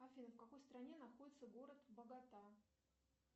афина в какой стране находится город богота